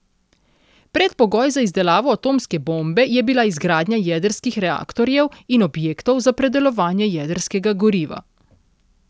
Predpogoj za izdelavo atomske bombe je bila izgradnja jedrskih reaktorjev in objektov za predelovanje jedrskega goriva.